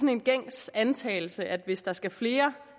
er en gængs antagelse at hvis der skal flere